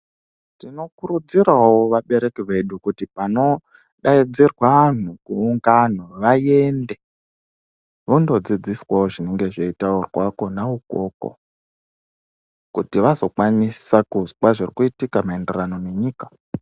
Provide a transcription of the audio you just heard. Tinokurudzirawo vabereki vedu kuti panodaidzirwa anhu kuungano vaende vondodzidziswawo zvinenge zveitaurwa kona ukoko kuti vazokwanisa kuzwa zvirikuitika maenderano nenyika